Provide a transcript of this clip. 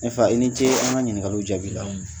Ne fa i ni ce an ka ɲininkaw jaabi la